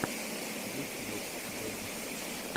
ютьюб дэнис